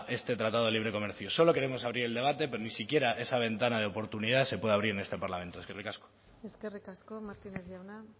este tratado de libre comercio solo queremos abrir el debate pero ni siquiera esa ventana de oportunidad se puede abrir en este parlamento eskerrik asko eskerrik asko martínez jauna